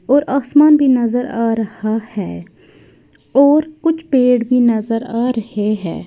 और आसमान भी नजर आ रहा है और कुछ पेड़ की नजर आ रहे हैं।